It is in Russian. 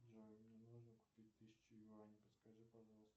джой мне нужно купить тысячу юаней подскажи пожалуйста